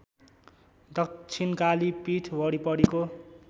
दक्षिणकाली पीठ वरिपरिको